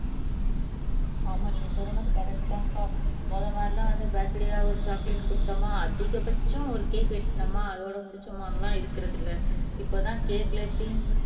ஆமா நீங்க சொல்ற மாதிரி கரெக்ட்தான் அக்கா முதல் மாதிரி எல்லாம் வந்து பர்த்டேயா ஒரு சாக்லேட் கொடுத்தோமா அதிகபட்சம் ஒரு கேக் வெட்டுனோமா அதோட முடிச்சமானெல்லாம் இருக்கிறது இல்ல இப்பதான் கேக்ல தீம்